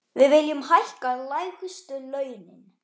Við viljum hækka lægstu launin.